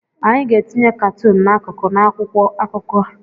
Anyị ga-etinye katuun n'akụkụ n'akwụkwọ akụkọ.